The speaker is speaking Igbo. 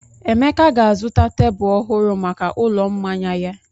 Emeka ga-azụta tebụl ọhụrụ maka ụlọ mmanya ya.